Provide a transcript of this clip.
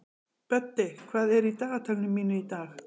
Böddi, hvað er í dagatalinu mínu í dag?